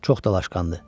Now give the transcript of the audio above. Çox dalaşqandır.